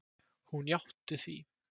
Hún játti því.